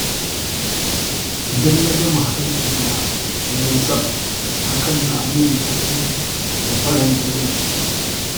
Idan na ga muhallina ya yi tsaf, hakan na min daɗi da faranta rai.